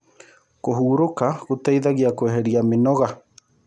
Kũhũrũka gũteĩthagĩa kweherĩa mĩnoga